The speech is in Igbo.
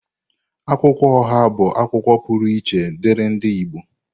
Akwụkwọ oha bụ akwukwuo pụrụ iche diri ndi Igbo.